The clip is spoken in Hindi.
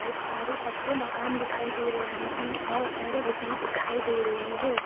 बहोत सारे पक्के मकान दिखाई दे रहे हैं और सड़क भी दिखाई दे रही है।